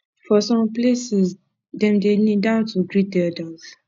for some places dem dey kneel down to greet elders